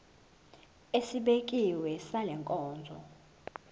esibekiwe sale nkonzo